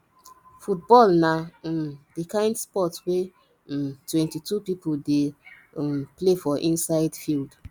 football na um di kind sport wey um 22 people dey um play for inside field